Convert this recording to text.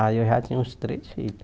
Aí eu já tinha uns três filhos.